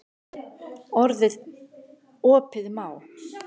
Opið má.